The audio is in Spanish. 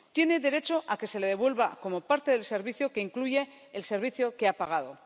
Tiene derecho a que se le devuelva como parte del servicio que incluye el servicio que ha pagado.